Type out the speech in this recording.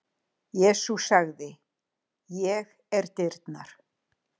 Jesús sagði: Ég er dyrnar.